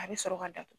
A bɛ sɔrɔ ka datugu